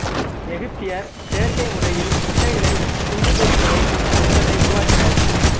எகுபதியர் செயற்கை முறையில் முட்டைகளக் குஞ்சுபொரிக்க வைக்கும் நுட்பத்தை உருவாக்கினர்